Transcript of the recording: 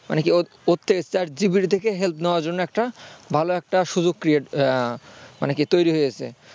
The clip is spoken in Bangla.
মানে কি ওর থেকে chat GPT থেকে help নেয়ার জন্য একটা ভালো একটা সুযোগ create মানে কি তৈরি হয়েছে